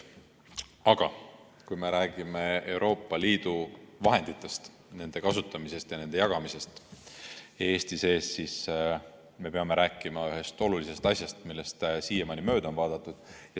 Aga kui me räägime Euroopa Liidu vahenditest, nende kasutamisest ja nende jagamisest Eesti sees, siis me peame rääkima ühest olulisest asjast, millest siiamaani mööda on vaadatud.